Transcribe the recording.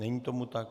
Není tomu tak.